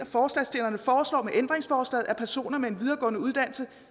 forslagsstillerne foreslår med ændringsforslaget at personer med en videregående uddannelse